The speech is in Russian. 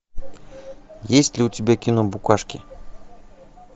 есть ли у тебя кино букашки